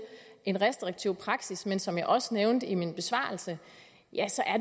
en restriktiv praksis men som jeg også nævnte i min besvarelse